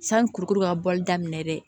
Sani kurukuru ka bɔli daminɛ dɛ